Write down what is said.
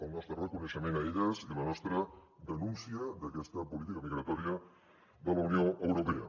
el nostre reconeixement a elles i la nostra denúncia d’aquesta política migratòria de la unió europea